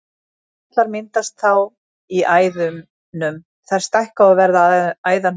Blóðpollar myndast þá í æðunum, þær stækka og verða að æðahnútum.